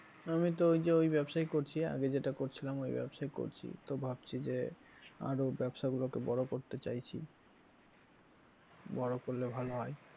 আমি তো ওইযে ওই ব্যবসাই করছি আগে যেটা করছিলাম ওই ব্যবসায় করছি তো ভাবছি যে আরো ব্যবসা গুলোকে বড় করতে চাইছি বড় করলে ভালো হয়।